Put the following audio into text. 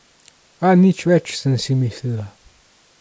A nič več, sem si mislila.